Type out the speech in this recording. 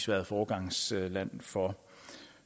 været foregangsland for